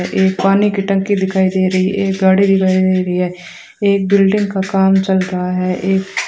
एक पानी की टंकी दिखाई दे रही है एक गाड़ी दिखाई दे रही है एक बिल्डिंग का काम चल रहा है एक --